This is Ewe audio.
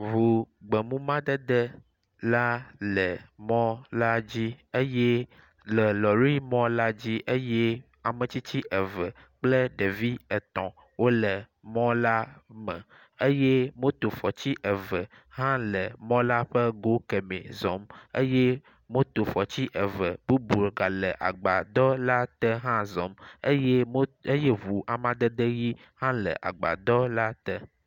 Ŋu gbemumadede la le mɔ la dzi eye le lɔrimɔla dzi eye ametsitsi eve kple ɖevi etɔ̃ wole mɔ la me eye motofɔtsi eve hã le mɔ la ƒe go kemɛ zɔm eye motofɔtsi eve bubu gale agbadɔ la te hã zɔm eye mo, eye ŋu amadede ʋi hã le agbadɔ la te.